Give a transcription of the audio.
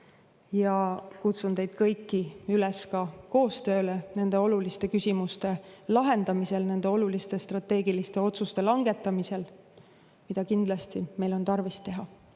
Ja kutsun teid kõiki üles koostööle nende oluliste küsimuste lahendamisel, nende oluliste strateegiliste otsuste langetamisel, mida kindlasti meil on tarvis teha.